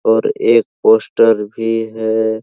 और एक पोस्टर भी है।